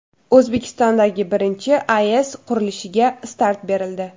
O‘zbekistondagi birinchi AES qurilishiga start berildi.